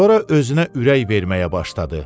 Sonra özünə ürək verməyə başladı.